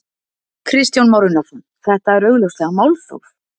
Kristján Már Unnarsson: Þetta er augljóslega málþóf?